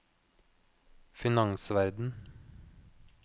finansverden